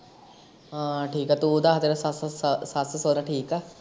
ਹਾ ਠੀਕ ਆ, ਤੂੰ ਦੱਸ ਤੇਰਾ ਸੱਸ ਸੌਰਾ ਠੀਕ ਆ।